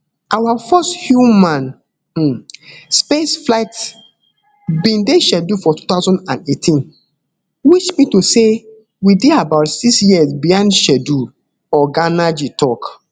our first human um space flight bin dey scheduled for two thousand and eighteen which mean to say we dey about six years behind schedule oga nnaji tok